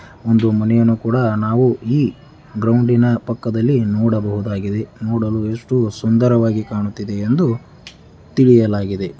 ಒಂದು ಮನೆಯನ್ನು ಕೂಡ ನಾವು ಈ ಗ್ರೌಂಡಿನ ಪಕ್ಕದಲ್ಲಿ ನೋಡಬಹುದಾಗಿದೆ ನೊಡಲು ಎಷ್ಟು ಸುಂದರವಾಗಿ ಕಾಣುತ್ತಿದೆ ಎಂದು ತಿಳಿಯಲಾಗಿದೆ.